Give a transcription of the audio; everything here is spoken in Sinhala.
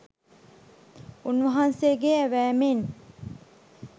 උන්වහන්සේගේ ඇවෑමෙන්